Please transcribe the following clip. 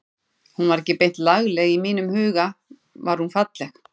Hún var ekki beint lagleg en í mínum huga var hún falleg.